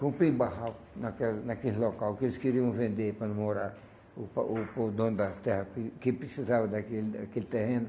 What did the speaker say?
Comprei barraco naquela naquele local que eles queriam vender para não morar o para o dono da terra que precisava daquele aquele terreno.